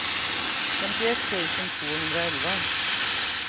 femtioett tusen tvåhundraelva